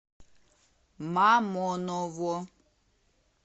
мамоново